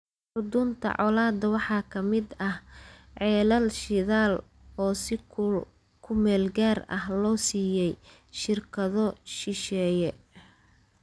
Xudunta colaadda waxaa ka mid ah ceelal shidaal oo si ku meel gaar ah loo siiyey shirkado shisheeye.